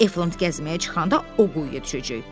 Eflant gəzməyə çıxanda o quyuya düşəcək.